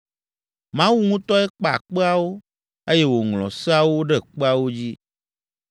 Mawu ŋutɔe kpa kpeawo, eye wòŋlɔ Seawo ɖe kpeawo dzi.